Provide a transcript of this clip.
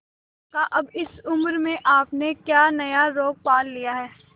काका अब इस उम्र में आपने क्या नया रोग पाल लिया है